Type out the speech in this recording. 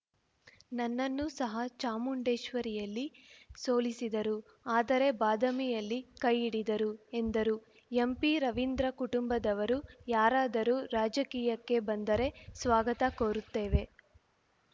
ನನ್ನನ್ನು ಸಹ ಚಾಮುಂಡೇಶ್ವರಿಯಲ್ಲಿ ಸೋಲಿಸಿದರು ಆದರೆ ಬಾದಾಮಿಯಲ್ಲಿ ಕೈ ಹಿಡಿದರು ಎಂದರು ಎಂಪಿರವೀಂದ್ರ ಕುಟುಂಬದವರು ಯಾರಾದರೂ ರಾಜಕೀಯಕ್ಕೆ ಬಂದರೆ ಸ್ವಾಗತ ಕೋರುತ್ತೇವೆ